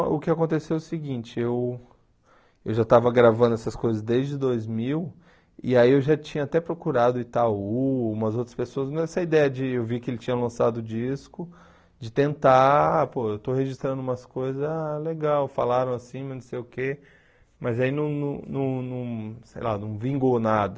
o que aconteceu é o seguinte, eu eu já estava gravando essas coisas desde dois mil, e aí eu já tinha até procurado Itaú, umas outras pessoas, mas essa ideia de eu ver que ele tinha lançado o disco, de tentar, pô, eu estou registrando umas coisas, ah, legal, falaram assim, mas não sei o quê, mas aí não não não não, sei lá, não vingou nada.